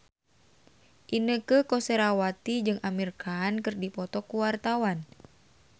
Inneke Koesherawati jeung Amir Khan keur dipoto ku wartawan